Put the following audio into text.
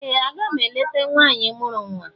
Ee! Aga m eleta nwaanyị mụrụ nwa.